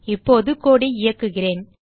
இப்போது கோடு ஐ இயக்குகிறேன்